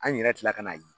An yɛrɛ kila ka n'a ye